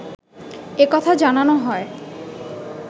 এ কথা জানানো হয়